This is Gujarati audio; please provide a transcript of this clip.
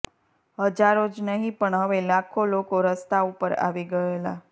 હજારો જ નહિ પણ હવે લાખો લોકો રસ્તા ઉપર આવી ગયેલા